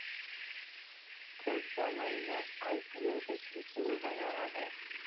पुढच्या महिन्यात आयपीएल देखील सुरू होणार आहे.